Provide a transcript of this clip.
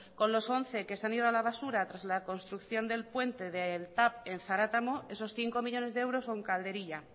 con los once que se han ido a la basura tras la construcción del puente del tav en zaratamo esos cinco millónes de euros son calderilla